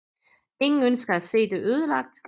Ingen ønsker at se det ødelagt